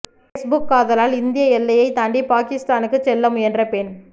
Facebook காதலால் இந்திய எல்லையை தாண்டி பாக்கிஸ்தானுக்கு செல்ல முயன்ற பெண்